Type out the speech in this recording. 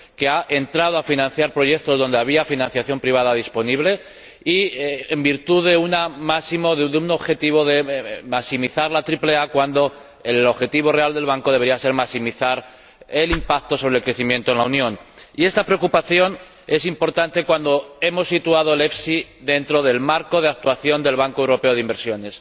que ha financiado proyectos donde había financiación privada disponible y en virtud del objetivo de maximizar la triple A, cuando el objetivo real del Banco debería ser maximizar el impacto sobre el crecimiento en la Unión. Y esta preocupación es importante cuando hemos situado al EFSI en el marco de actuación del Banco Europeo de Inversiones.